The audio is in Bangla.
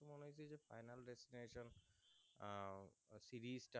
আহ series তা